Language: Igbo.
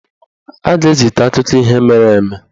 Ọ ga-ezita akụkọ ihe mere eme